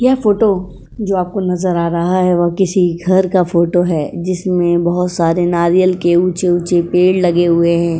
यह फोटो जो आपको नजर आ रहा है वो किसी घर का फोटो है जिसमें बोहोत सारे नारियल के ऊंचे-ऊंचे पेड़ लगे हुए हैं।